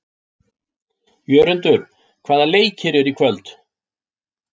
Jörundur, hvaða leikir eru í kvöld?